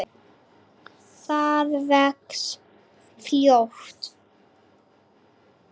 Það vex fljótt.